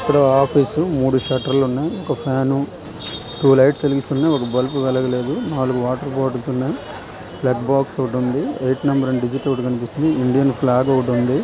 Office మూడు షర్టులు ఉన్నాయి ఒక ఫాన్ టూ లైట్స్ వేసి ఉన్నాయి. ఒక బల్ప వెలగ లేదు నాలుగు వాటర్ బాటిల్స్ ఉన్నాయిప్లగ్ బాగ్స్ ఐట్ నెంబర్ అనే డిజిట్ కూడా కనిపిస్తుంది. ఇండియన్ ఫ్లాగ్ ఒకటి ఉంది.